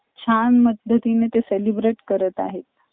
छान पद्धतीने ते celebrate करत आहे.